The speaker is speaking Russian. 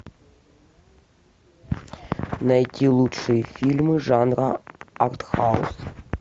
найти лучшие фильмы жанра артхаус